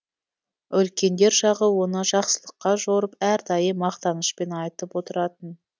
үлкендер жағы оны жақсылыққа жорып әрдайым мақтанышпен айтып отыратын